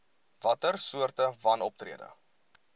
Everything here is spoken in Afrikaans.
watter soorte wanoptrede